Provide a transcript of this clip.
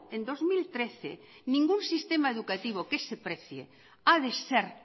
en dos mil trece ningún sistema educativo que se precie ha de ser